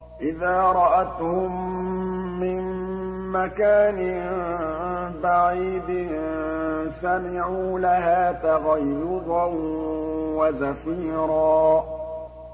إِذَا رَأَتْهُم مِّن مَّكَانٍ بَعِيدٍ سَمِعُوا لَهَا تَغَيُّظًا وَزَفِيرًا